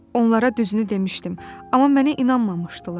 Onlara düzünü demişdim, amma mənə inanmamışdılar.